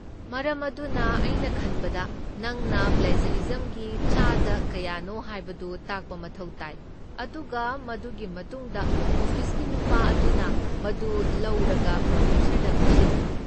ꯃꯔꯝ ꯑꯗꯨꯅ, ꯑꯩꯅ ꯈꯟꯕꯗ ꯅꯪꯅ ꯄ꯭ꯂꯦꯖꯔꯤꯖꯝꯒꯤ ꯆꯥꯗ ꯀꯌꯥꯅꯣ ꯍꯥꯏꯕꯗꯨ ꯇꯥꯛꯄ ꯃꯊꯧ ꯇꯥꯏ, ꯑꯗꯨꯒ ꯃꯗꯨꯒꯤ ꯃꯇꯨꯡꯗ ꯑꯣꯐꯤꯁꯀꯤ ꯅꯨꯄꯥ ꯑꯗꯨꯅ ꯃꯗꯨ ꯂꯧꯔꯒ ꯄ꯭ꯔꯣꯐꯦꯁꯔꯗ ꯄꯤꯁꯜꯂꯤ꯫